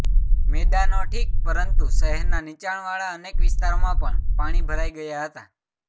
મેદાનો ઠીક પરંતુ શહેરના નિચાણવાળા અનેક વિસ્તારોમાં પણ પાણી ભરાઇ ગયા હતા